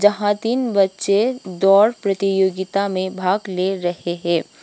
यहां तीन बच्चे दौड़ प्रतियोगिता में भाग ले रहे है।